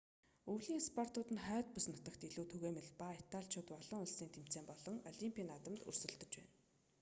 өвлийн спортууд нь хойд бүс нутагт илүү түгээмэл ба италичууд олон улсын тэмцээн болон олимпийн наадамд өрсөлдөж байна